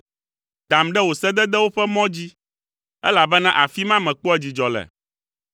Dam ɖe wò sededewo ƒe mɔ dzi, elabena afi ma mekpɔa dzidzɔ le.